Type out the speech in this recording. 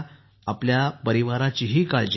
आपल्या परिवाराचींही काळजी घ्या